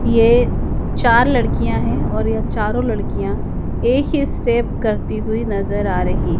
ये चार लड़कियां हैं और यह चारों लड़कियां एक ही स्टेप करती हुई नजर आ रही--